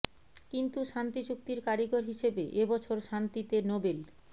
কিন্তু শান্তি চুক্তির কারিগর হিসেবে এ বছর শান্তিতে নোবেল